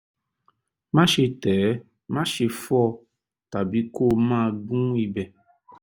máṣe tẹ̀ ẹ́ máṣe fọ́ ọ tàbí kó o máa gún ibẹ̀